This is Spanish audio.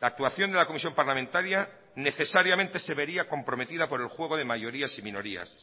la actuación de la comisión parlamentaria necesariamente se vería comprometida por el juego de mayorías y minorías